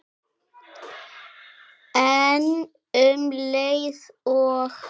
En um leið og